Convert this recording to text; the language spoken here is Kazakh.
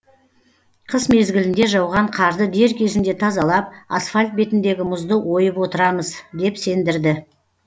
қыс мезгілінде жауған қарды дер кезінде тазалап асфальт бетіндегі мұзды ойып отырамыз деп сендірді